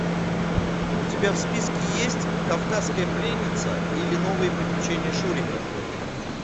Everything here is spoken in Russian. у тебя в списке есть кавказская пленница или новые приключения шурика